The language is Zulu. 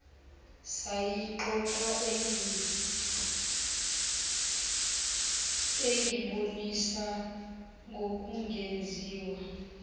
sayixoxa engibonisa ngokungenziwa